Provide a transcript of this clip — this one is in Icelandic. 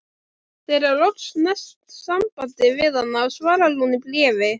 Þegar loks næst samband við hana svarar hún í bréfi